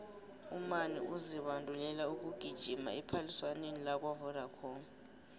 umani uzibandulela ukugijima ephaliswaneni lakwavodacom